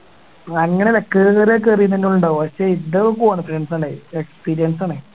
അങ്ങനെ കേറീത് തന്നെ ഉണ്ടാവുക ആണേ experience ആണേ